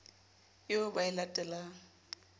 eo ba e late lang